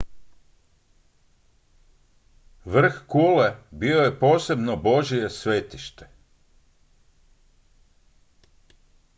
vrh kule bio je posebno božje svetište